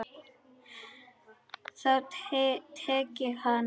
Þá tek ég hann!